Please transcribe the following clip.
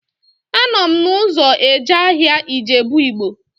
Anọ m n'ụzọ eje ahịa Ijebu Ịgbo